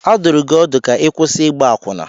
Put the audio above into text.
A dụrụ gị ọdụ ka ị kwụsị ịgba akwụna!